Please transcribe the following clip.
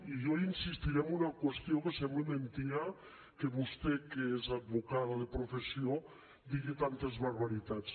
i jo insistiré en una qüestió que sembla mentida que vostè que és advocada de professió digui tantes barbaritats